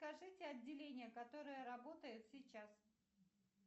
скажите отделение которое работает сейчас